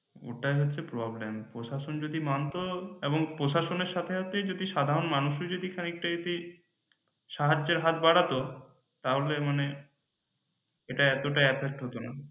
ওটাই হচ্ছে problem প্রশাসন যদি মানত এবং প্রশাসনের সাথে যদি সাধারণ মানুষ ও যদি খানিক টা যদি সাহায্যের হাত বারাতো তাহলে মানে এটা এতটা affect হতনা